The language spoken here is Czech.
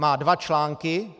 Má dva články.